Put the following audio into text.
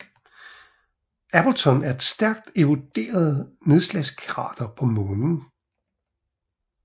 Appleton er et stærkt eroderet nedslagskrater på Månen